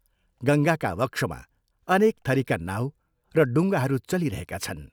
गङ्गाका वक्षमा अनेक थरीका नाउ र डुंगाहरू चलिरहेका छन्।